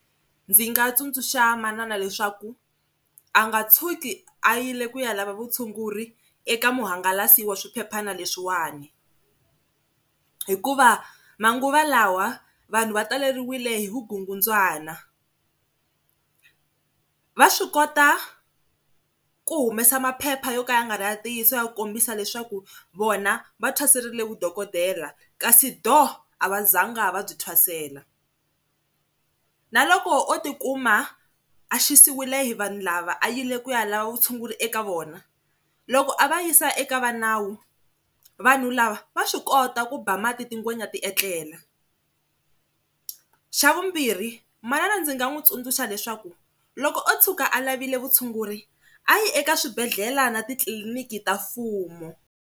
Ndzi nga tsundzuxa manana leswaku a nga tshuki a yile ku ya lava vutshunguri eka muhangalasi wa swiphephana leswiwani hikuva manguva lawa vanhu va taleriwile hi vukungundzwana, va swi kota ku humesa maphepha yo ka ya nga ri ya ntiyiso ya ku kombisa leswaku vona va thwaserile vudokodela kasi dooh a va zanga va byi thwasela. Na loko o tikuma a xisiwile hi vanhu lava a yile ku ya lava vutshunguri eka vona loko a va yisa eka vanawu vanhu lava va swi kota ku ba mati tigwenya ti etlela, xa vumbirhi manana ndzi nga n'wi tsundzuxa leswaku loko o tshuka a lavile vutshunguri a yi eka swibedhlele na titliliniki ta mfumo.